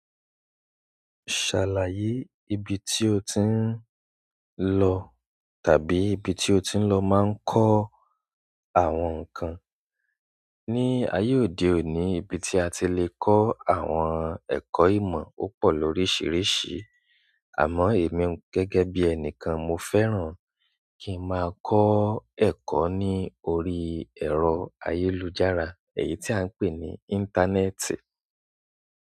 Ṣàlàyé ibi tí o ti ń lọ tàbí ibi tí o ti ń lọ máa ń kọ́ àwọn nǹkan. Ni ayé òde òní, ibi tí a ti lè kọ́ àwọn ẹ̀kọ́ ìmọ̀ o pọ̀ lóríṣiríṣi. Àmọ́ èmi gẹ́gẹ́ bí ẹni kan, mo fẹ́ràn kí n máa kọ́ ẹ̀kọ́ ní orí ẹ̀rọ ayélujára, èyí tí à ń pè ní íńtánẹ́ẹ̀tì.